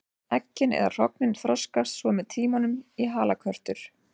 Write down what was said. Eggin eða hrognin þroskast svo með tímanum í halakörtur.